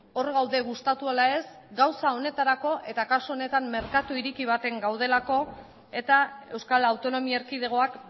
hor gaude gustatu ala ez gauza honetarako eta kasu honetan merkatu ireki batean gaudelako eta euskal autonomia erkidegoak